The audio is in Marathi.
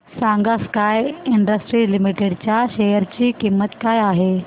सांगा स्काय इंडस्ट्रीज लिमिटेड च्या शेअर ची किंमत काय आहे